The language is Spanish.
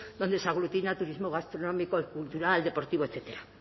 donde se aglutina turismo gastronómico cultural deportivo etcétera